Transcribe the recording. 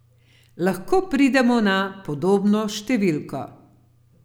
Lahko pridemo na podobno številko.